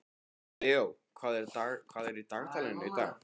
Leó, hvað er í dagatalinu í dag?